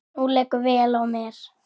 Nú liggur vél á mér